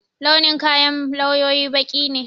Launin kayan lawyoyi baƙi ne